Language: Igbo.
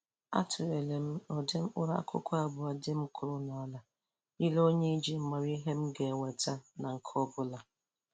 Atụlere m ụdị mkpụrụ akụkụ abụọ dị m kụrụ n'ala yiri onwe iji mara ihe m ga-enweta na nke ọbụla